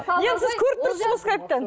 енді сіз көріп тұрсыз ғой скайптан